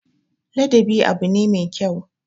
Ladabi abu ne me kyau.